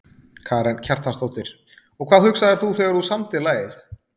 Karen Kjartansdóttir: Og hvað hugsaðir þú þegar þú samdir lagið?